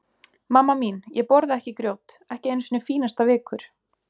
Mamma mín, ég borða ekki grjót, ekki einu sinni fínasta vikur.